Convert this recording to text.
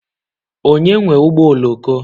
Onye nwe ụgbọ oloko?